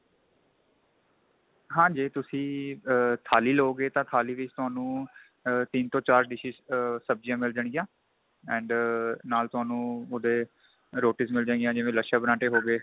ਹਾਂ ਜੇ ਤੁਸੀਂ ਥਾ ਆ ਥਾਲੀ ਲੋ ਗਏ ਤਾਂ ਥਾਲੀ ਵਿੱਚ ਤੁਹਾਨੂੰ ਤਿੰਨ ਤੋਂ ਚਾਰ dishes ਆ ਸਭਜੀਆਂ ਮਿਲ ਜਾਣ ਗਿਆ and ਨਾਲ ਤੁਹਾਨੂੰ ਉਹਦੇ roti's ਮਿਲ ਜੇ ਗਿਆ ਜੀਵਾਂ ਲਛੇ ਪਰਾਂਠੇ ਹੋ ਗਏ